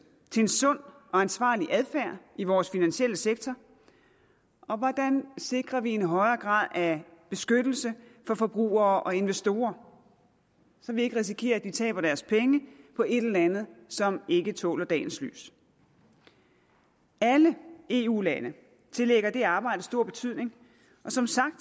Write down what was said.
til en sund og ansvarlig adfærd i vores finansielle sektor og hvordan sikrer vi en højere grad af beskyttelse for forbrugere og investorer så vi ikke risikerer at de taber deres penge på et eller andet som ikke tåler dagens lys alle eu lande tillægger det arbejde stor betydning og som sagt